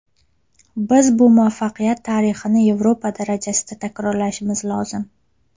Biz bu muvaffaqiyat tarixini Yevropa darajasida takrorlashimiz lozim.